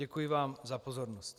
Děkuji vám za pozornost.